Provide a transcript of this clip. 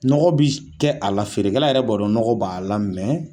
Nɔgɔ bi kɛ a la feerekɛla yɛrɛ b'a dɔn nɔgɔ b'a la